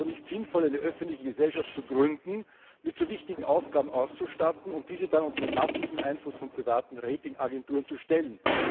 Es ist also nicht sinnvoll, eine öffentliche Gesellschaft zu gründen, mit so wichtigen Aufgaben auszustatten und diese dann unter den massiven Einfluss von privaten Rating Agenturen zu stellen.